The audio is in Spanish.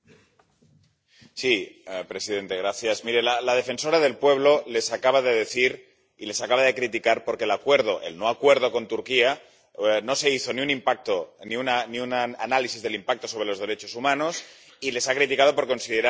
Señor presidente. Miren, la defensora del pueblo les acaba de decir y les acaba de criticar porque en el acuerdo, el no acuerdo, con Turquía no se hizo ni un impacto ni un análisis del impacto sobre los derechos humanos y les ha criticado por considerar a Turquía país seguro.